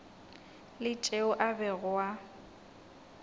la tšeo a bego a